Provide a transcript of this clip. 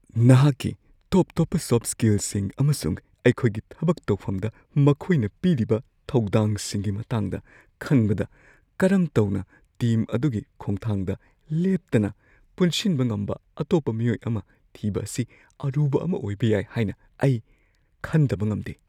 ꯅꯍꯥꯛꯀꯤ ꯇꯣꯞ-ꯇꯣꯞꯄ ꯁꯣꯐꯠ ꯁ꯭ꯀꯤꯜꯁꯤꯡ ꯑꯃꯁꯨꯡ ꯑꯩꯈꯣꯏꯒꯤ ꯊꯕꯛ ꯇꯧꯐꯝꯗ ꯃꯈꯣꯏꯅ ꯄꯤꯔꯤꯕ ꯊꯧꯗꯥꯡꯁꯤꯡꯒꯤ ꯃꯇꯥꯡꯗ ꯈꯟꯕꯗ, ꯀꯔꯝ ꯇꯧꯅ ꯇꯤꯝ ꯑꯗꯨꯒꯤ ꯈꯣꯡꯊꯥꯡꯗ ꯂꯦꯞꯇꯅ ꯄꯨꯟꯁꯤꯟꯕ ꯉꯝꯕ ꯑꯇꯣꯞꯄ ꯃꯤꯑꯣꯏ ꯑꯃ ꯊꯤꯕ ꯑꯁꯤ ꯑꯔꯨꯕ ꯑꯃ ꯑꯣꯏꯕ ꯌꯥꯏ ꯍꯥꯏꯅ ꯑꯩ ꯈꯟꯗꯕ ꯉꯝꯗꯦ ꯫